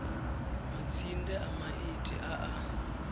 matsinde a maiti a a